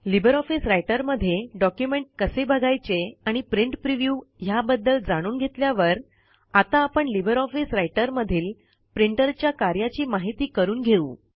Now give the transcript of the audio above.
Libre Office Writer मध्ये document कसे बघायचे आणि प्रिंट प्रिव्ह्यू ह्या बद्दल जाणून घेतल्यावर आता आपण लिबर ऑफिस रायटर मधील प्रिंटर च्या कार्याची माहिती करून घेऊ